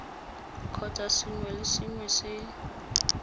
kgotsa sengwe le sengwe se